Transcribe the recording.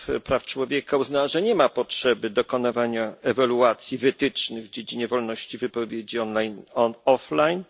praw człowieka uznała, że nie ma potrzeby dokonywania oceny wytycznych w dziedzinie wolności wypowiedzi online i offline.